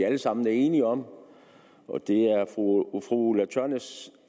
alle sammen enige om det er fru ulla tørnæs